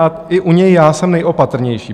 A i u něj já jsem nejopatrnější.